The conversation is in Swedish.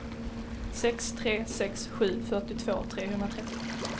sex tre sex sju fyrtiotvå trehundratrettio